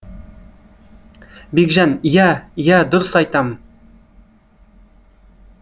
бекжан ия ия дұрыс айтам